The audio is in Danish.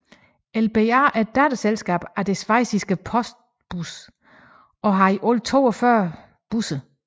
LBA er et datterselskab af det schweiziske Postbus og har i alt 42 busser